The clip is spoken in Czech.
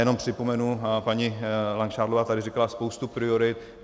Jenom připomenu - paní Langšádlová tady říkala spoustu priorit.